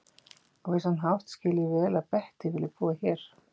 Á vissan hátt skil ég vel að Bettý vilji búa hér.